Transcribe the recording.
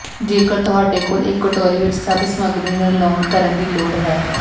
ਜੇਕਰ ਤੁਹਾਡੇ ਕੋਲ ਇੱਕ ਕਟੋਰੇ ਵਿੱਚ ਸਭ ਸਮੱਗਰੀ ਨੂੰ ਰਲਾਉਣ ਕਰਨ ਦੀ ਲੋੜ ਹੈ